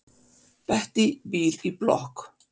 Bettý býr í blokk.